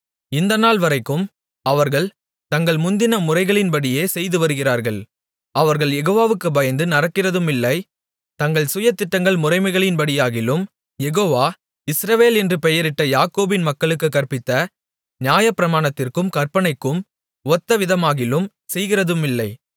இந்நாள்வரைக்கும் அவர்கள் தங்கள் முந்தின முறைகளின்படியே செய்து வருகிறார்கள் அவர்கள் யெகோவாவுக்குப் பயந்து நடக்கிறதுமில்லை தங்கள் சுய திட்டங்கள் முறைமைகளின்படியாகிலும் யெகோவா இஸ்ரவேல் என்று பெயரிட்ட யாக்கோபின் மக்களுக்குக் கற்பித்த நியாயப்பிரமாணத்திற்கும் கற்பனைக்கும் ஒத்தவிதமாகிலும் செய்கிறதுமில்லை